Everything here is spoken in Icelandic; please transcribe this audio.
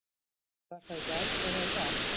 Var það í gær eða í dag?